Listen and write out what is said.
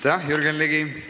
Aitäh, Jürgen Ligi!